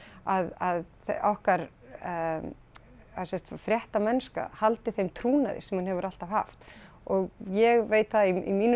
að okkar eða sem sagt fréttamennska haldi þeim trúnaði sem hún hefur alltaf haft og ég veit það í mínu